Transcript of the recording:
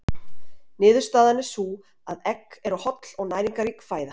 Niðurstaðan er sú að egg eru holl og næringarrík fæða.